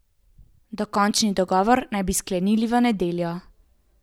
Dokončni dogovor naj bi sklenili v nedeljo.